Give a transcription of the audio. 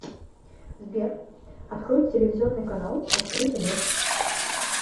сбер открой телевизионный канал открытый мир